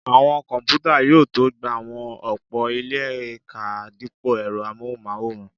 Àwọn kọ̀mpútà yóò tó gba àwọn ọ̀pọ̀ ilé ká dípò ẹ̀rọ amóhùnmáwòrán